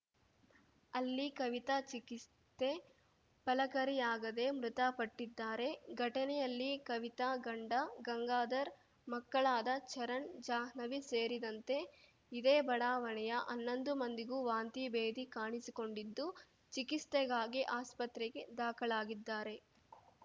ಅಲ್ಲಿ ಕವಿತಾ ಚಿಕಿತ್ಸೆ ಫಲಕಾರಿಯಾಗದೆ ಮೃತಪಟ್ಟಿದ್ದಾರೆ ಘಟನೆಯಲ್ಲಿ ಕವಿತಾ ಗಂಡ ಗಂಗಾಧರ್‌ ಮಕ್ಕಳಾದ ಚರಣ್‌ ಜಾಹ್ನವಿ ಸೇರಿದಂತೆ ಇದೇ ಬಡಾವಣೆಯ ಹನ್ನೊಂದು ಮಂದಿಗೂ ವಾಂತಿಭೇದಿ ಕಾಣಿಸಿಕೊಂಡಿದ್ದು ಚಿಕಿತ್ಸೆಗಾಗಿ ಆಸ್ಪತ್ರೆಗೆ ದಾಖಲಾಗಿದ್ದಾರೆ